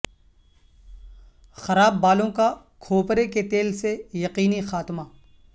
خراب بالوں کا کھوپرے کے تیل سے یقینی خاتمہ